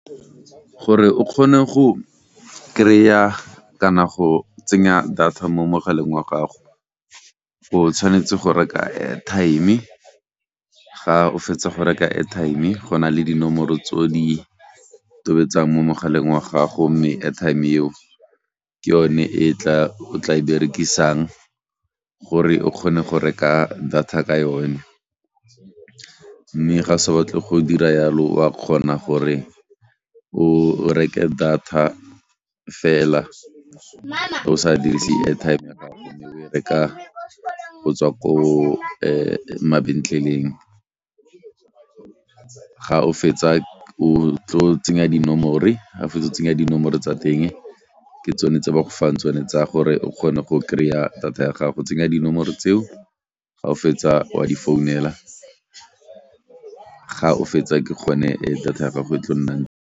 Gore o kgone go krya kana go tsenya data mo mogaleng wa gago o tshwanetse go reka airtime ga o fetsa go reka airtime go na le dinomoro tse o di tobetsang mo mogaleng wa gago mme airtime eo ke yone e tla o tla e berekisang gore o kgone go reka data ka yone mme ga sa batle go dira yalo wa kgona gore o reke data fela o sa dirise airtime reka go tswa ko mabentleleng ga o fetsa o tlo tsenya dinomore, ga o fetsa go tsenya dinomore tsa teng ke tsone tse ba go fang tsone tsa gore o kgone go krya data ya gago. Tsenya dinomoro tseo ga o fetsa wa di founela ga o fetsa ke gone data ya gago e tlo nnang.